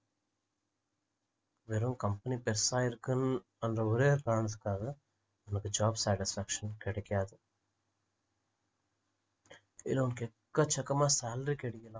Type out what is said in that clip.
வெறும் company பெருசா இருக்கின்ற ஒரே காரணத்துக்காக நமக்கு job satisfaction கிடைக்காது சரி okay எக்கச்சக்கமா salary கிடைக்குதா